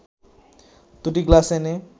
দুটো গ্লাস এনে